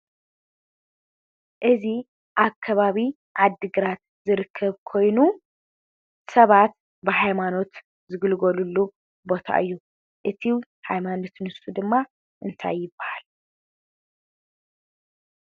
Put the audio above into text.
እዚ ኣብ ከባቢ ዒዲግራት ዝርከብ ኮይኑ ሰባት ብሃይማኖት ዝግልገልሉ ቦታ እዩ። እቲ ሃይማኖት ንሱ ድማ እንታይ ይበሃል ?